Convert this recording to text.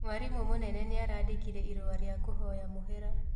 Mwarimũ mũnene nĩarandĩkire irũa rĩa kũhoya mũhera